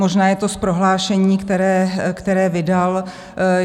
Možná je to z prohlášení, které vydal.